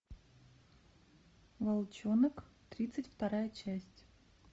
волчонок тридцать вторая часть